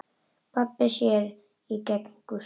Pabbi sér í gegnum Gústa.